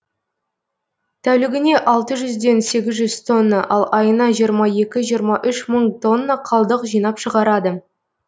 тәулігіне алты жүзден сегіз жүз тонна ал айына жиырма екі жиырма үш мың тонна қалдық жинап шығарады